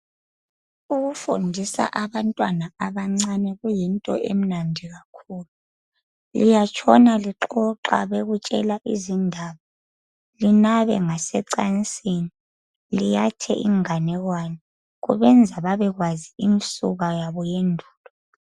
Ukufundisa abantwana abancane kuyinto emnandi kakhulu liyatshona lixoxa bekutshela izindaba linabe ngasecansini, liyathe inganekwane. Kubenza babekwazi imisuka yabo yendulo